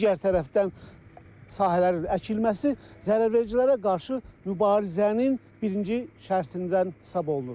Digər tərəfdən sahələrin əkilməsi zərərvericilərə qarşı mübarizənin birinci şərtindən hesab olunur.